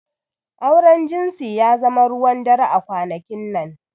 Auren jinsi ya zama ruwan dare a kwanakin nan.